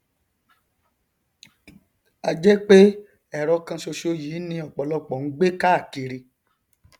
a jẹ pé ẹrọ kan ṣoṣo yìí ni ọpọlọpọ ń gbé káàkiri